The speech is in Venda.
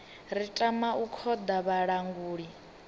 ri tama u khoḓa vhalanguli